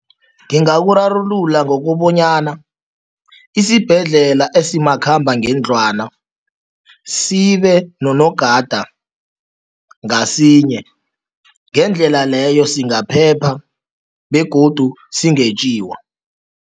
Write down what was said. Ngingakurarulula ngokobanyana isibhedlela esimakhambangendlwana sibe nonogada ngasinye. Ngendlela leyo singaphepha begodu singetjiwa.